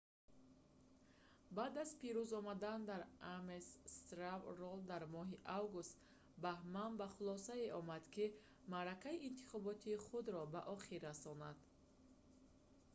баъд аз пирӯз омадан дар ames straw poll дар моҳи август бахман ба хулосае омад ки маъракаи интихотобии худро ба охир расонад